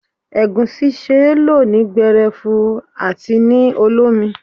Egusi ṣe lọ ní gberefu àti ní olómi.